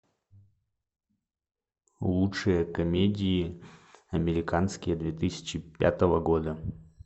лучшие комедии американские две тысячи пятого года